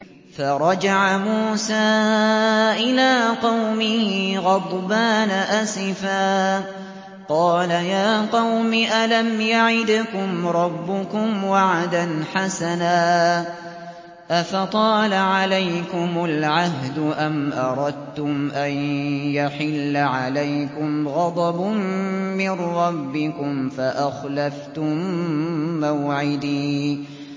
فَرَجَعَ مُوسَىٰ إِلَىٰ قَوْمِهِ غَضْبَانَ أَسِفًا ۚ قَالَ يَا قَوْمِ أَلَمْ يَعِدْكُمْ رَبُّكُمْ وَعْدًا حَسَنًا ۚ أَفَطَالَ عَلَيْكُمُ الْعَهْدُ أَمْ أَرَدتُّمْ أَن يَحِلَّ عَلَيْكُمْ غَضَبٌ مِّن رَّبِّكُمْ فَأَخْلَفْتُم مَّوْعِدِي